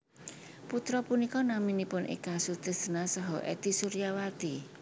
Putra punika naminipun Eka Sutrisna saha Ety Suryawati